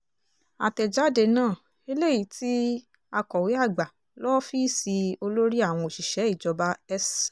àtẹ̀jáde náà eléyìí tí akọ̀wé àgbà lọ́fíìsì olórí àwọn òṣìṣẹ́ ìjọba s